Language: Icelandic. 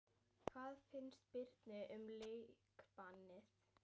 Hvað finnst Birni um leikbannið?